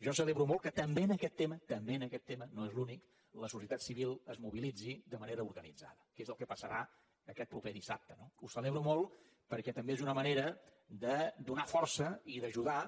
jo celebro molt que també en aquest tema també en aquest tema no és l’únic la societat civil es mobilitzi de manera organitzada que és el que passarà aquest proper dissabte no ho celebro molt perquè també és una manera de donar força i d’ajudar